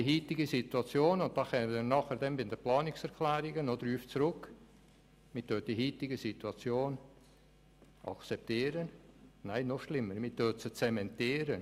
Man will die heutige Situation – und da kommen wir bei den Planungserklärungen noch darauf zurück –, man akzeptiert sie, nein, noch schlimmer, man zementiert sie.